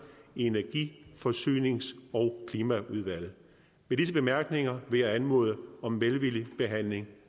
i energi forsynings og klimaudvalget med disse bemærkninger vil jeg anmode om en velvillig behandling